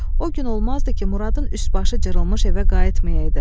O gün olmazdı ki, Muradın üst-başı cırılmış evə qayıtmayaydı.